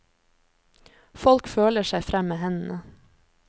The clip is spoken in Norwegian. Folk føler seg frem med hendene.